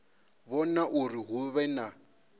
vhona uri hu vhe na